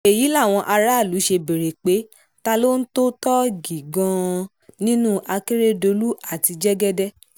èyí làwọn aráàlú ṣe béèrè pé ta ló ń tó tọ́ọ̀gì gan-an nínú akérèdọ́lù àti jẹ́gẹ́dẹ́